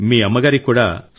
మీ అమ్మ గారికి కూడా